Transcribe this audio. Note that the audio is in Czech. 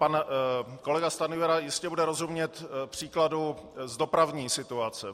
Pan kolega Stanjura jistě bude rozumět příkladu z dopravní situace.